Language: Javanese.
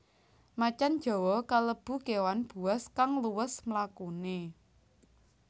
Macan jawa kalebu kéwan buas kang luwes mlakune